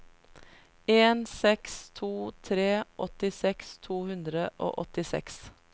en seks to tre åttiseks to hundre og åttiseks